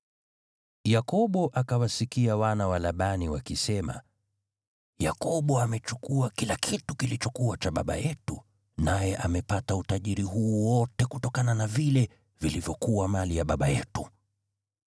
Yakobo akawasikia wana wa Labani wakisema, “Yakobo amechukua kila kitu kilichokuwa cha baba yetu naye amepata utajiri huu wote kutokana na vile vilivyokuwa mali ya baba yetu.”